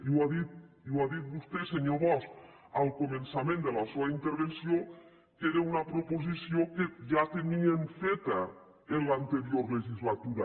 i ho ha dit vostè senyor bosch al començament de la seua intervenció que era una proposició que ja tenien feta en l’anterior legislatura